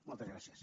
moltes gràcies